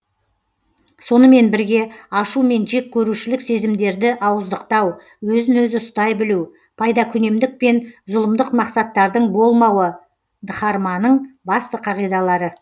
сонымен бірге ашу мен жек көрушілік сезімдерді ауыздықтау өзін өзі ұстай білу пайдакүнемдік пен зұлымдық мақсаттардың болмауы дхарманың басты қағидалары